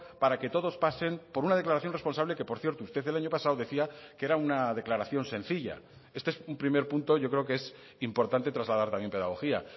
para que todos pasen por una declaración responsable que por cierto usted el año pasado decía que era una declaración sencilla este es un primer punto yo creo que es importante trasladar también pedagogía